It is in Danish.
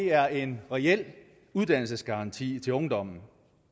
er en reel uddannelsesgaranti til ungdommen